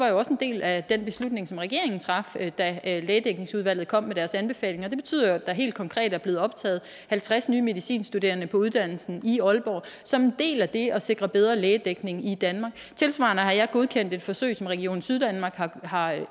jo også en del af den beslutning som regeringen traf da lægedækningsudvalget kom med deres anbefalinger det betyder jo at der helt konkret er blevet optaget halvtreds nye medicinstuderende på uddannelsen i aalborg som en del af det at sikre bedre lægedækning i danmark tilsvarende har jeg godkendt et forsøg som region syddanmark har